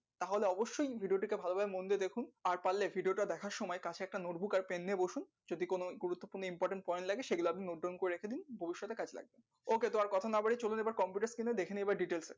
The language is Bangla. তাহলে অবশ্যয় video টিকে ভাল ভাবে মন দিয়ে দেখুন আর পারলে video টা দেখার সময় কাছে একটা note book আর পেন নিয়ে বসুন যদি কোনো গুরুত্ব পূর্ণ important point লাগে সে গুলো আপনি note down করে রেখে দিন ভবিষ্যতে কাজে লাগবে okay তো আর কথা না বাড়িয়ে চলুন এবার computer screen এ দেখে নেবা details এ